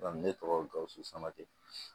ne tɔgɔ gawusu sama te